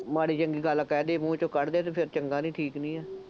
ਮਾੜ੍ਹੀ ਚੰਗੀ ਗੱਲ ਕਹਿ ਦੇ, ਮੂੰਹ ਚੋ ਕੱਢ ਦੇ ਅਤੇ ਫੇਰ ਚੰਗਾ ਨਹੀਂ, ਠੀਕ ਨਹੀਂ ਹੈ।